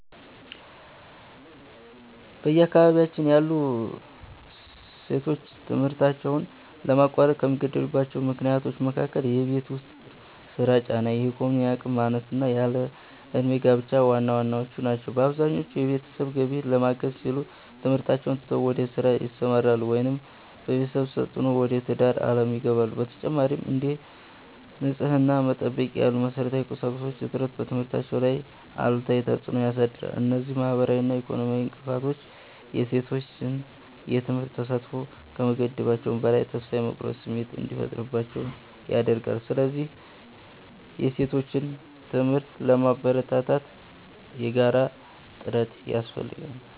በአካባቢያችን ያሉ ሴቶች ትምህርታቸውን ለማቋረጥ ከሚገደዱባቸው ምክንያቶች መካከል የቤት ውስጥ ሥራ ጫና፣ የኢኮኖሚ አቅም ማነስና ያለ ዕድሜ ጋብቻ ዋናዎቹ ናቸው። ብዙዎቹ የቤተሰብን ገቢ ለማገዝ ሲሉ ትምህርታቸውን ትተው ወደ ሥራ ይሰማራሉ፤ ወይም በቤተሰብ ተፅዕኖ ወደ ትዳር ዓለም ይገባሉ። በተጨማሪም፥ እንደ ንጽሕና መጠበቂያ ያሉ መሠረታዊ ቁሳቁሶች እጥረት በትምህርታቸው ላይ አሉታዊ ተፅዕኖ ያሳድራል። እነዚህ ማኅበራዊና ኢኮኖሚያዊ እንቅፋቶች የሴቶችን የትምህርት ተሳትፎ ከመገደባቸውም በላይ፥ ተስፋ የመቁረጥ ስሜት እንዲፈጠርባቸው ያደርጋሉ። ስለዚህ የሴቶችን ትምህርት ለማበረታታት የጋራ ጥረት ያስፈልጋል።